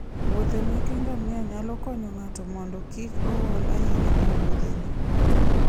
wuodhe meke ngamia nyalo konyo ng'ato mondo kik ool ahinya e Wuothene.